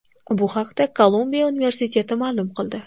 Bu haqda Kolumbiya universiteti ma’lum qildi .